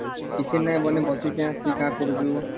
କିଛି ନାହିଁ ବୋଇଲେ ବସିକି ପିଠା କରୁଚୁ